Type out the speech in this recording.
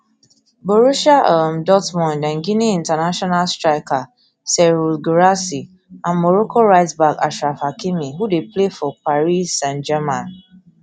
borussia um dortmund and guinea international striker serhou guirassy and morocco rightback achraf hakimi who dey play for paris saintgermain